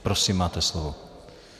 Prosím, máte slovo.